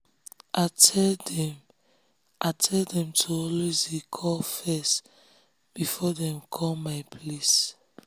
i tell dem i tell dem to always dey call first before um dem come um my place